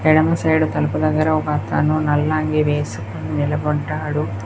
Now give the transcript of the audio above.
ఎడమ సైడ్ తలుపు దగ్గర ఒకతను నల్ల అంగి వేసి నిలబడ్డాడు.